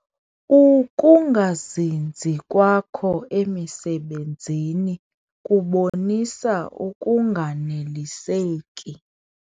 Uukungazinzi kwakho emisebenzini kubonisa ukunganeliseki.